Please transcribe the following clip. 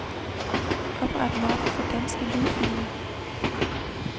Opret mappe for danske lydfiler.